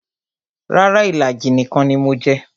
Rara, ìlàjì nìkan ni mo jẹ